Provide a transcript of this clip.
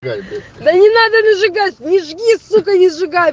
жаль бля да не надо ли сжигать не жги сука не сжигай